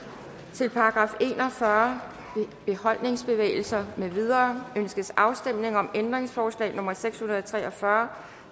til § en og fyrre beholdningsbevægelser med videre ønskes afstemning om ændringsforslag nummer seks hundrede og tre og fyrre